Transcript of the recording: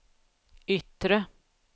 yttre